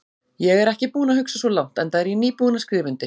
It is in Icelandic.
Ég er ekki búinn að hugsa svo langt, enda er ég nýbúinn að skrifa undir.